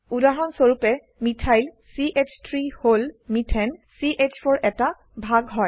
উদাহৰণ স্বৰুপে মিথাইল চ3 হল মিথেন চ4 এৰ এটা ভাগ হয়